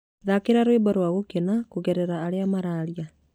thaakĩra rwĩmbo rwa gũkena kũgerera arĩa mararia